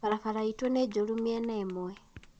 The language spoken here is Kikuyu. Barabara itũ nĩ njũru mĩena ĩmwe